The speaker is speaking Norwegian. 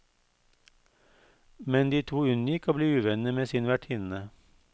Men de to unngikk å bli uvenner med sin vertinne.